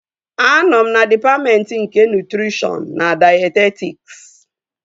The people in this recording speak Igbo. Anọ m na dịpatmentị nke nutrishọn na dayetetiks